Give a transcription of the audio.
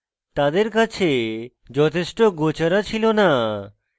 তাদের কাছে যথেষ্ট গোচারা ছিল না